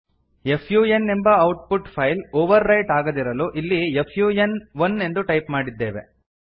F U ಎನ್ಎಂಬ output file overwrite ಆಗದಿರಲು ಇಲ್ಲಿ ಎಫ್ ಯು ಎನ್ ಒನ್ ಎಂದು ಟೈಪ್ ಮಾಡಿದ್ದೇವೆ